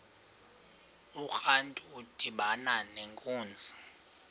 urantu udibana nenkunzi